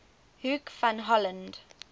hoek van holland